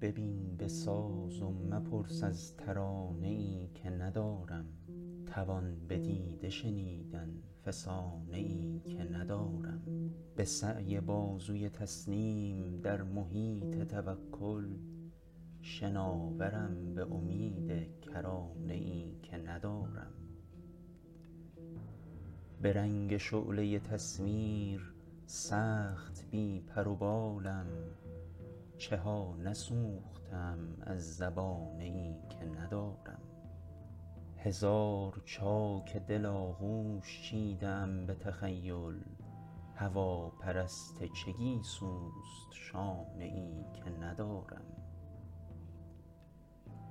ببین به ساز و مپرس از ترانه ای که ندارم توان به دیده شنیدن فسانه ای که ندارم به سعی بازوی تسلیم در محیط توکل شناورم به امید کرانه ای که ندارم به رنگ شعله تصویر سخت بی پر و بالم چها نسوخته ام از زبانه ای که ندارم هزار چاک دل آغوش چیده ام به تخیل هواپرست چه گیسوست شانه ای که ندارم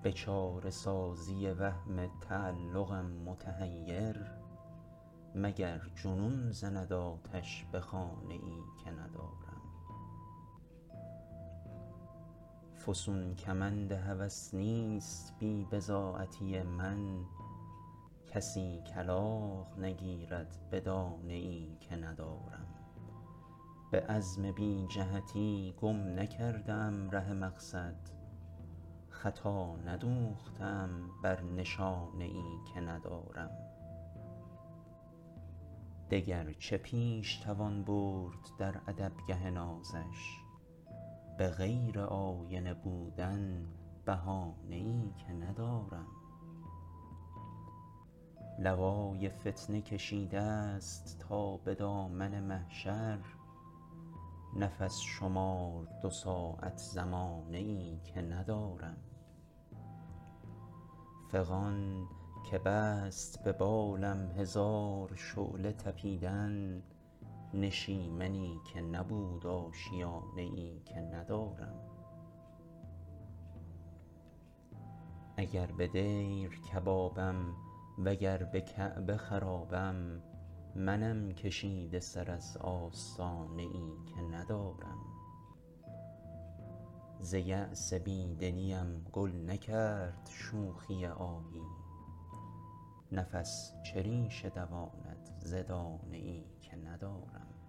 به چاره سازی وهم تعلقم متحیر مگر جنون زند آتش به خانه ای که ندارم فسون کمند هوس نیست بی بضاعتی من کسی کلاغ نگیرد به دانه ای که ندارم به عزم بی جهتی گم نکرده ام ره مقصد خطا ندوخته ام بر نشانه ای که ندارم دگر چه پیش توان برد در ادبگه نازش به غیر آینه بودن بهانه ای که ندارم لوای فتنه کشیده ست تا به دامن محشر نفس شمار دو ساعت زمانه ای که ندارم فغان که بست به بالم هزار شعله تپیدن نشیمنی که نبود آشیانه ای که ندارم اگر به دیر کبابم وگر به کعبه خرابم من کشیده سر از آستانه ای که ندارم ز یأس بیدلی ا م گل نکرد شوخی آهی نفس چه ریشه دواند ز دانه ای که ندارم